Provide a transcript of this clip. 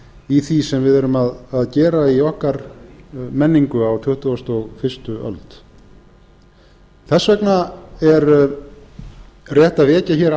í því sem við erum að gera í okkar menningu á tuttugustu og fyrstu öld þess vegna er rétt að vekja hér